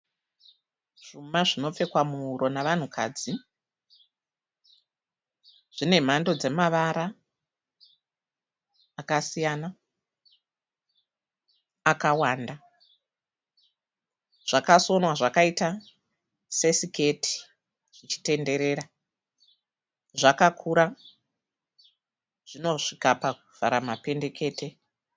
Zvuma zvinopfekwa muhuro navanhukadzi. Zvine mhando dzemavara akasiyana, akawanda. Zvakasonwa zvakaita sesiketi zvichitenderera. Zvakakura, zvinosvika pakuvhara mapendekete.